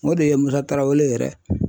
O de ye Musa Tarawele yɛrɛ